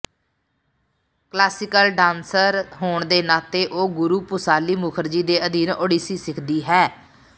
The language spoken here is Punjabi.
ਕਲਾਸੀਕਲ ਡਾਂਸਰ ਹੋਣ ਦੇ ਨਾਤੇ ਉਹ ਗੁਰੂ ਪੂਸਾਲੀ ਮੁੱਖਰਜੀ ਦੇ ਅਧੀਨ ਓਡੀਸੀ ਸਿੱਖਦੀ ਹੈ